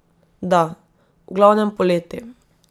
Da, v glavnem poleti.